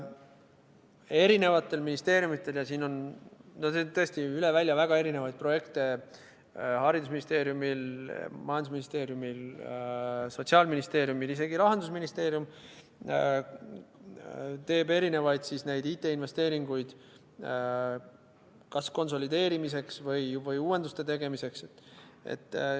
Erinevatel ministeeriumidel, ja siin on tõesti üle välja väga erinevaid projekte – Haridus- ja Teadusministeeriumil, Majandus- ja Kommunikatsiooniministeeriumil, Sotsiaalministeeriumil, isegi Rahandusministeerium teeb erinevaid IT-investeeringuid kas konsolideerimiseks või uuenduste tegemiseks.